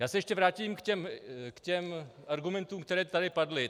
Já se ještě vrátím k těm argumentům, které tady padly.